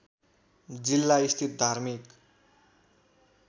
जिल्ला स्थित धार्मिक